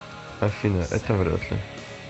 афина это вряд ли